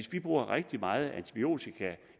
bruger rigtig meget antibiotika